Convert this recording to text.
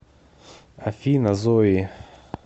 афина зои